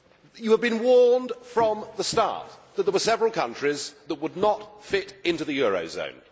You have been warned from the start that there were several countries that would not fit into the eurozone.